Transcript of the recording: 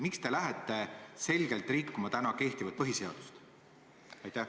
Miks te lähete selgelt rikkuma kehtivat põhiseadust?